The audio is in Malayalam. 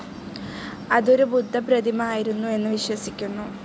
അതു ഒരു ബുദ്ധ പ്രതിമ ആയിരുന്നു എന്ന് വിശ്വസിക്കുന്നു.